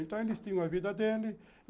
Então, eles tinham a vida dele.